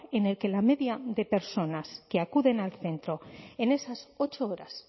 en el que la media de personas que acuden al centro en esas ocho horas